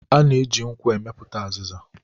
A na-eji nkwụ amịpụta azịza